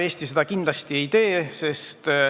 Eesti seda kindlasti ei tee.